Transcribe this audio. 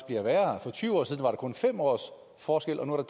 bliver værre for tyve år siden var der kun fem års forskel og nu er